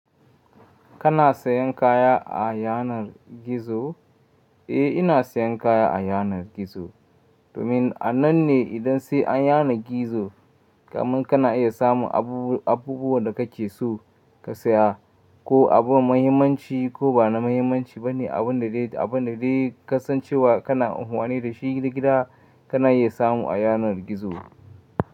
Kana sayan kaya a yanar gizo? Eh, ina sayan kaya a yanar gizo. Domin a nan ne idan sai an yana gizo, kamin kana iya samun abubuwan da kake so ka saya. Ko abun muhimmanci ko ba na muhimmanci ba ne, abin da dai ka san cewa kana amfani da shi gida, kana iya samu a yanar gizo.